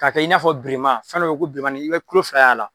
Ka kɛ i n'a fɔ birema fɛn dɔ bɛ ye ko bilenmanin i bɛ kulo fira kari a la.